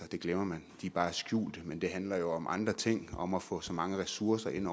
det glemmer man de er bare skjulte men det handler om andre ting om at få så mange ressourcer ind